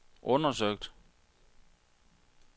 undersøgt